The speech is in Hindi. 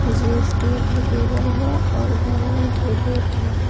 और जी_एस_टी एप्लीकेबल है और गवर्नमेंट रिबेट है।